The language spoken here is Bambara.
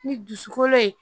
Ni dusukolo ye